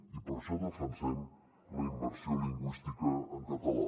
i per això defensem la immersió lingüística en català